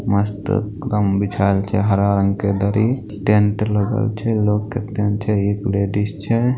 मस्त एक दम बिछाएल छै हरा रंग के दरी टेंट लगल छै लोग कत्ते ने छैएक लेडीज छै।